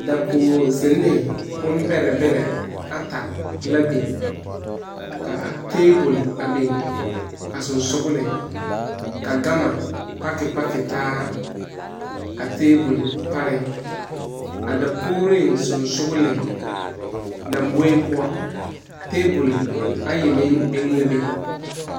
Dakoge zinne bonbɛrɛ ata la biŋ ka tabol biŋ a sɔŋsɔgliŋsɔgɔ kyɛ ka gama pake taa a tabol pareŋ.A dakogre koŋkoreŋ tabol ayi meŋ biŋ la a be.